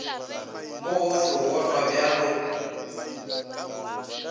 mo gohle o bonwa bjalo